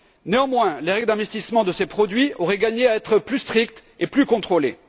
Néanmoins, les règles d'investissement de ces produits auraient gagné à être plus strictes et plus contrôlées.